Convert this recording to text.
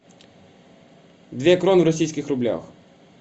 две кроны в российских рублях